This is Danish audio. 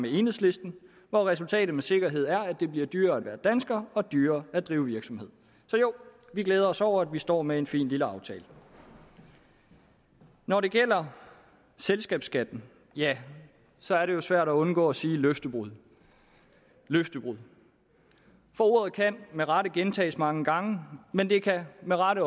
enhedslisten hvor resultatet med sikkerhed er at det bliver dyrere at være dansker og dyrere at drive virksomhed så jo vi glæder os over at vi står med en fin lille aftale når det gælder selskabsskatten ja så er det jo svært at undgå at sige løftebrud løftebrud for ordet kan med rette gentages mange gange men det kan med rette